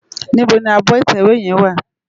Nibó ni ábò itèwé yèn wá?